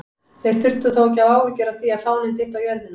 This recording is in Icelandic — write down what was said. Þeir þurftu þó ekki að hafa áhyggjur af því að fáninn dytti á jörðina!